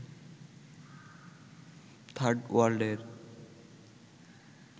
third ওয়ার্ল্ডের